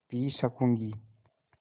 P सकँूगी